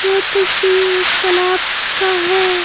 यह तस्वीर एक तालाब का है।